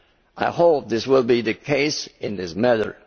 I hope this will be the case in this matter.